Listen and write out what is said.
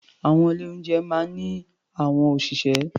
Àwọn ilé-oúnjẹ máa ń ní àwọn òṣìṣẹ́.